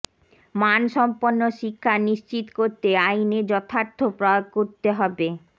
মানসম্পন্ন শিক্ষা নিশ্চিত করতে আইনের যথার্থ প্রয়োগ করতে হবে